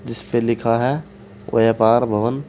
इस पे लिखा है व्यापार भवन।